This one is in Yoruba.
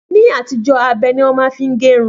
Ni àtijó, abe ni wọ́n ma n fi gérun